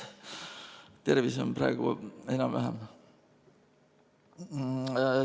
Tervis on praegu enam-vähem.